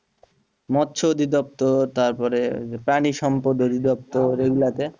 মৎস তারপরে ওই যে প্রাণী